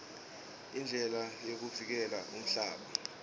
indlela yokuvikela umhlaba